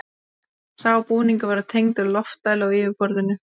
Sá búningur var tengdur loftdælu á yfirborðinu.